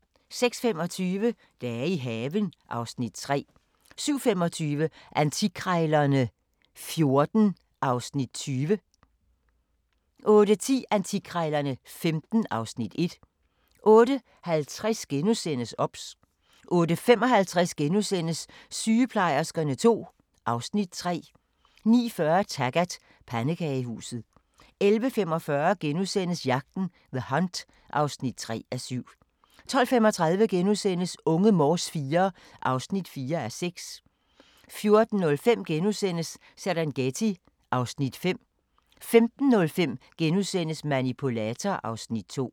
06:25: Dage i haven (Afs. 3) 07:25: Antikkrejlerne XIV (Afs. 20) 08:10: Antikkrejlerne XV (Afs. 1) 08:50: OBS * 08:55: Sygeplejerskerne II (Afs. 3)* 09:40: Taggart: Pandekagehuset 11:45: Jagten – The Hunt (3:7)* 12:35: Unge Morse IV (4:6)* 14:05: Serengeti (Afs. 5)* 15:05: Manipulator (Afs. 2)*